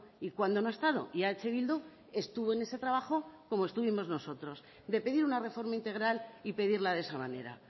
y cuándo no ha estado y eh bildu estuvo en ese trabajo como estuvimos nosotros de pedir una reforma integral y pedirla de esa manera